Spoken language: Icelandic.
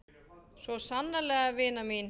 Svo sannarlega vina mín.